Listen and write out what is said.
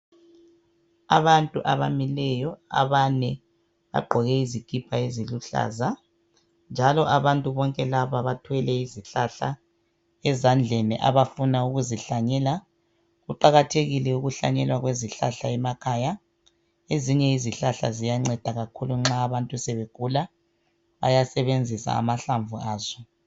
Abantu abamileyo abane bagqoke izikipa eziluhlaza njalo abantu bonke laba bathwele izihlahla ezandleni abafuna ukuzihlanyela kuqakathekile ukuhlanyelwa kwezihlahla emakhaya ezinye izihlahla ziyanceda kakhulu nxa abantu sebegula bayasebenzisa amahlamvu aso